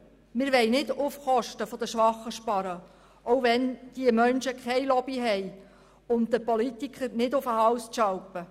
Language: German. Wir wollen nicht auf Kosten der Schwachen sparen, auch wenn diese Menschen keine Lobby haben und den Politikern nicht auf die Pelle rücken.